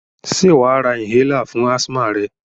Sé wàá ra inhaler fún asthma rẹ?